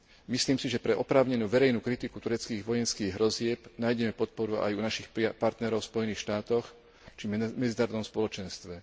Myslím si, že pre oprávnenú verejnú kritiku tureckých vojenských hrozieb nájdeme podporu aj u našich partnerov v Spojených štátoch či v medzinárodnom spoločenstve.